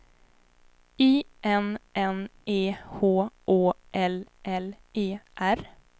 I N N E H Å L L E R